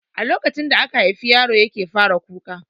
A lokacin da aka haifi yaro yake fara kuka